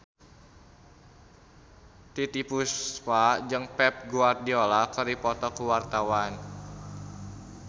Titiek Puspa jeung Pep Guardiola keur dipoto ku wartawan